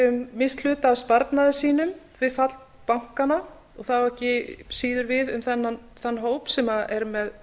misst hluta af sparnaði sínum við fall bankanna og það á ekki síður við um þann hóp sem er með